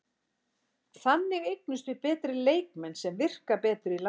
Þannig eignumst við betri leikmenn sem virka betur í landsliðinu.